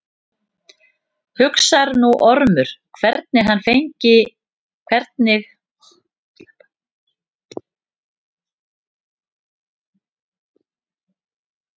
Hugsar nú Ormur hvernig hann megi fá Alexíus til að fallast á tillögur lögmanns.